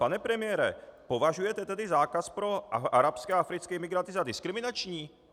Pane premiére, považujete tedy zákaz pro arabské a africké imigranty za diskriminační?